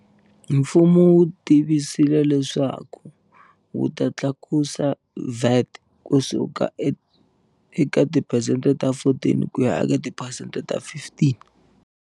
Mfumo wu tivise leswaku wu ta tlakusa VAT ku suka eka tiphesente ta 14 ku ya eka tiphesente ta 15.